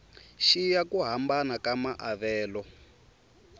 xiya ku hambana ka maavelo